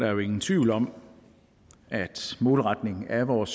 er jo ingen tvivl om at målretning af vores